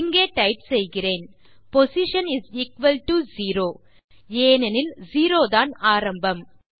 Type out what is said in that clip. இங்கே டைப் செய்கிறேன் போஸ்ஷன் 0 ஏனெனில் 0 தான் ஆரம்பம்